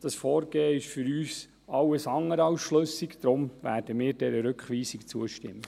Dieses Vorgehen ist für uns alles andere als schlüssig, und deshalb werden wir dieser Rückweisung zustimmen.